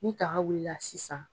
Ni daga wulila la sisan